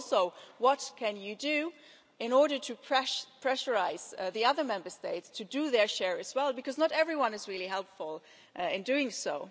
And what can you do in order to pressurise the other Member States to do their share as well, because not everyone is really helpful in doing so?